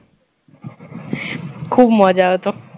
খুব মজা হত